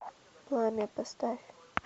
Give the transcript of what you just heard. пламя поставь